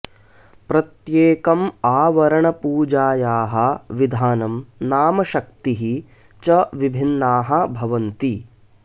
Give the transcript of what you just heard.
प्रत्येकम् आवरणपूजायाः विधानं नाम शक्तिः च विभिन्नाः भवन्ति